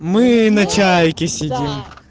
мы на чайке сидим